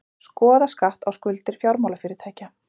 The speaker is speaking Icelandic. Skoða skatt á skuldir fjármálafyrirtækja